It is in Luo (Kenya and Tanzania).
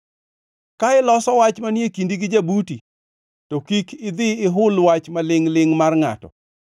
Ka iloso wach manie kindi gi jabuti, to kik idhi ihul wach malingʼ-lingʼ mar ngʼato;